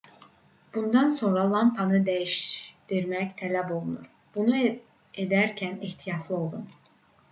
bundan sonra lampanı dəyişdirmək tələb olunur bunu edərkən ehtiyatlı olun